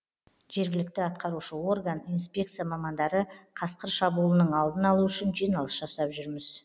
жергілікті атқарушы орган инспекция мамандары қасқыр шабуылының алдын алу үшін жиналыс жасап жүрміз